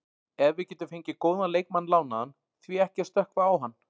Ef við getum fengið góðan leikmann lánaðan, því ekki að stökkva á hann?